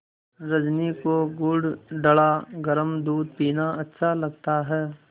रजनी को गुड़ डला गरम दूध पीना अच्छा लगता है